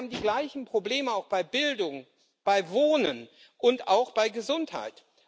Denn wir haben die gleichen Probleme auch bei Bildung, bei Wohnen und auch bei Gesundheit.